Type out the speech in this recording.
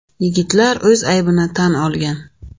Yigitlar o‘z aybini tan olgan.